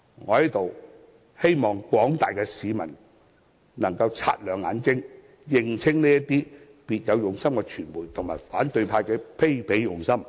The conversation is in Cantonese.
我在此希望廣大市民能擦亮眼睛，認清這些別有用心的傳媒及反對派的卑鄙用心。